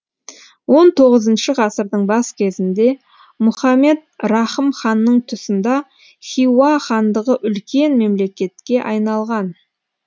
он тоғызыншы ғасырдың бас кезінде мұхамед рахым ханның тұсында хиуа хандығы үлкен мемлекетке айналған